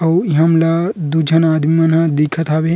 अउ हम ला दू झन आदमी मन दिखत हावे।